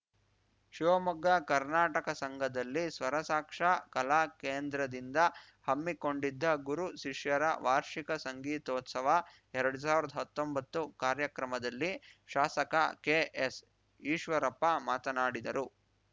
ಶಿವಮೊಗ್ಗ ಕರ್ನಾಟಕ ಸಂಘದಲ್ಲಿ ಸ್ವರಸಾಕ್ಷಾ ಕಲಾ ಕೇಂದ್ರದಿಂದ ಹಮ್ಮಿಕೊಂಡಿದ್ದ ಗುರು ಶಿಷ್ಯರ ವಾರ್ಷಿಕ ಸಂಗೀತೋತ್ಸವಎರಡ್ ಸಾವಿರ್ದಾ ಹತ್ತೊಂಬತ್ತು ಕಾರ್ಯಕ್ರಮದಲ್ಲಿ ಶಾಸಕ ಕೆಎಸ್‌ಈಶ್ವರಪ್ಪ ಮಾತನಾಡಿದರು